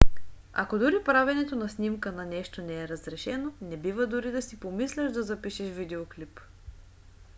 ако дори правенето на снимка на нещо не е разрешено не бива дори да си помисляш да запишеш видеоклип